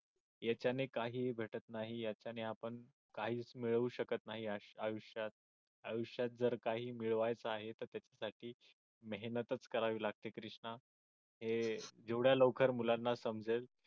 याच्याने काही भेटत नाही आणि त्यांनी असं काहीच मिळवू शकत नाही आयुष्यात आयुष्यात जर काही मिळवायचा आहे तर त्याच्यासाठी मेहनत करावी लागते कृष्णा हे जेवढ्या लवकर मुलांना समजेल